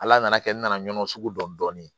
Ala nana kɛ n nana ɲɔn sugu dɔn dɔɔni